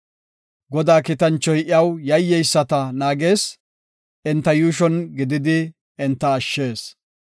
Godaa kiitanchoy iyaw yayyeyisata naagees; enta yuushon gididi enta ashshees.